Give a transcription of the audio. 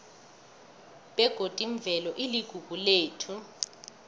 begodi imvelo iligugu lethu